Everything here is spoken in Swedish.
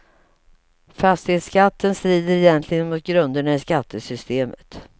Fastighetsskatten strider egentligen mot grunderna i skattesystemet.